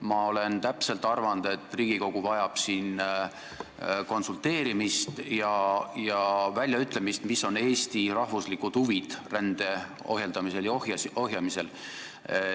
Ma olen arvanud, et Riigikogu vajab konsulteerimist sel teemal ja väljaütlemist, mis on Eesti rahvuslikud huvid rände ohjeldamisel ja ohjamisel.